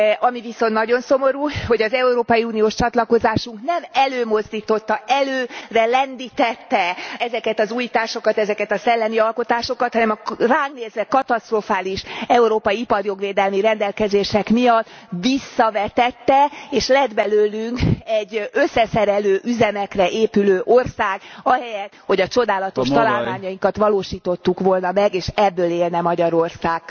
Ami viszont nagyon szomorú, hogy az európai uniós csatlakozásunk nem előmozdította, előre lendítette ezeket az újításokat, ezeket a szellemi alkotásokat, hanem ránk nézve katasztrofális európai iparjogvédelmi rendelkezések miatt visszavetette, és lett belőlünk egy összeszerelő üzemekre épülő ország ahelyett, hogy a csodálatos találmányainkat valósítottuk volna meg, és ebből élne Magyarország.